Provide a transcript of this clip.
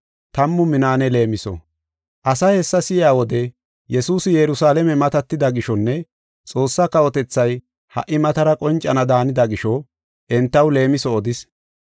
Asay hessa si7iya wode, Yesuusi Yerusalaame matatida gishonne Xoossaa kawotethay ha77i matara qoncana daanida gisho entaw leemiso odis.